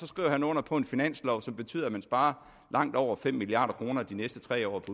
skriver han under på en finanslov som betyder at man sparer langt over fem milliard kroner de næste tre år